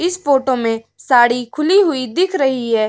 इस फोटो में साड़ी खुली हुई दिख रही है।